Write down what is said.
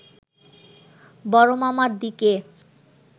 বড়মামার দিকে